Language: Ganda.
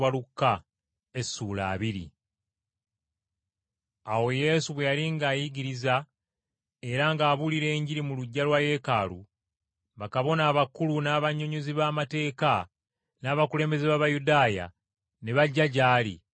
Awo Yesu bwe yali ng’ayigiriza era ng’abuulira Enjiri mu luggya lwa Yeekaalu, bakabona abakulu, n’abannyonnyozi b’amateeka n’abakulembeze b’Abayudaaya ne bajja gy’ali.